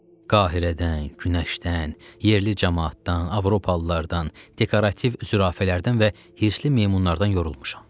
Qahirədən, günəşdən, yerli camaatdan, avropalılardan, dekorativ zürafələrdən və hirsli meymunlardan yorulmuşam.